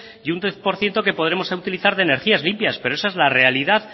y un diez por ciento que podremos utilizar de energías limpias pero esa es la realidad